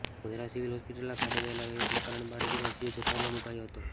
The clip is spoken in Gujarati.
ગોધરા સિવિલ હોસ્પિટલના ખાડે ગયેલા વહિવટના કારણે બાળકીનો જીવ જોખમમાં મુકાયો હતો